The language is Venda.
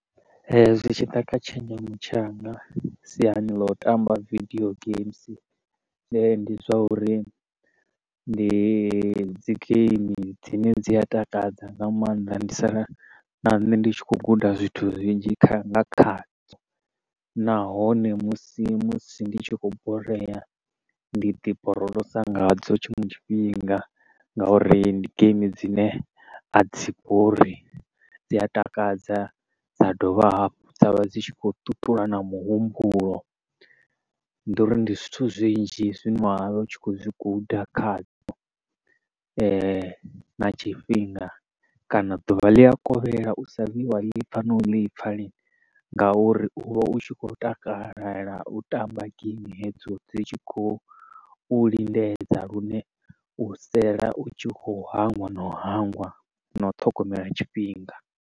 Zwi tshi ḓa kha tshenzhemo tshanga siani ḽo u tamba vidio games, ndi zwa uri ndi dzi game dzine dzi a takadza nga maanḓa. Ndi sala na nṋe ndi tshi khou guda zwithu zwinzhi kha nga dzo. Nahone musi musi ndi tshi khou borea, ndi ḓi borolosa ngadzo tshiṅwe tshifhinga nga uri ndi game dzine a dzi bori, dzi a takadza, dza dovha hafhu dza vha dzi tshi khou ṱuṱula na muhumbulo. Ndi uri ndi zwithu zwinzhi zwine wa vha u tshi khou zwi guda khadzo, na tshifhinga kana ḓuvha ḽi a kovhela u sa vhuyi wa ḽi pfa no u ḽi pfa lini, nga uri u vha u tshi khou takalela u tamba geimi hedzo, dzi tshi khou lingedza lune u sela u tshi khou hangwa na u hangwa na u ṱhogomela tshifhinga.